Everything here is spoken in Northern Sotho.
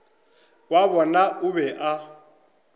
wa bona o be a